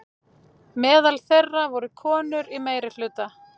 Meðal þeirra voru konur í meirihluta.